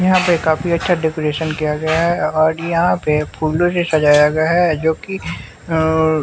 यहाँ पे काफी अच्छा डेकोरेशन किया गया है और यहाँ पे फूलों से सजाया गया है जोकि--